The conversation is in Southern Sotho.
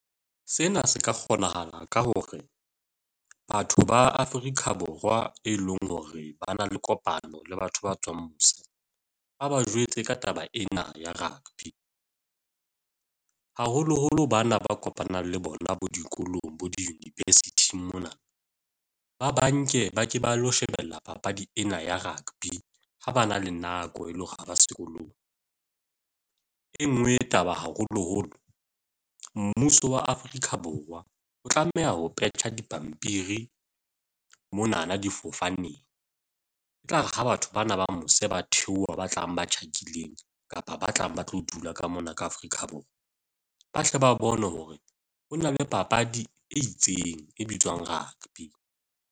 Sena se ka kgonahala ka hore batho ba Afrika Borwa, e leng hore ba na le kopano le batho ba tswang mose ba ba jwetse ka taba ena ya rugby haholoholo bana ba kopanang le bona bo dikolong bo di-university-ing mona ba banke ba ke ba lo shebella papadi ena ya rugby ha ba na le nako e le hore ha ba sekolong, e nngwe taba haholoholo mmuso wa Afrika Borwa o tlameha ho petjha dipampiri mona na difofaneng etlare ha batho bana ba mose ba theoha, ba tlang, ba tjhakileng kapa ba tlang ba tlo dula ka mona ka Afrika Borwa ba tle ba bone hore ho na le papadi e itseng e bitswang rugby.